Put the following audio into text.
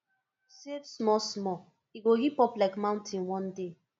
save small small e go hip up like mountain one day